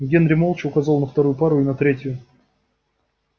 генри молча указал на вторую пару и на третью